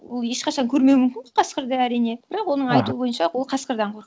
ол ешқашан көрмеуі мүмкін қасқырды әрине бірақ оның айтуы бойынша ол қасқырдан